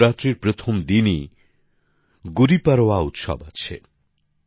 নবরাত্রির প্রথম দিনই গুড়িপাড়োয়া উৎসব আছে